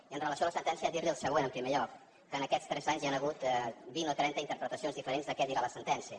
i amb relació a la sentència dirli el següent en primer lloc que en aquests tres anys hi han hagut vint o trenta interpretacions diferents de què dirà la sentència